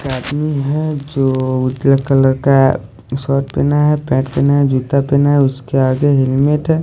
एक आदमी है जो उजले कलर का शर्ट पहना है पैट पहना है जूता पहना है उसके आगे हेलमेट है।